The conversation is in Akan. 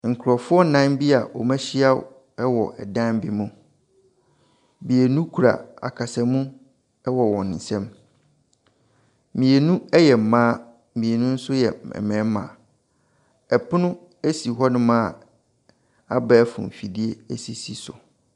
Nkorɔfoɔ nnan bi a wɔn ahyia ɛwɔ dan bi mu. Mmienu kura akasamu ɛwɔ wɔn nsam. Mmienu ɛyɛ mmaa, mmienu ɛnso ɛyɛ mmarima. Ɛpono esi hɔ nom a abɛɛfo nfidie esisi so.